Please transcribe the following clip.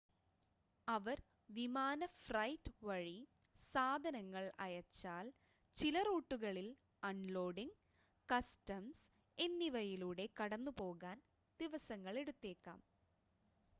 അവർ വിമാന ഫ്രൈറ്റ് വഴി സാധനങ്ങൾ അയച്ചാൽ ചില റൂട്ടുകളിൽ അൺലോഡിംഗ് കസ്റ്റംസ് എന്നിവയിലൂടെ കടന്നുപോകാൻ ദിവസങ്ങളെടുത്തേക്കാം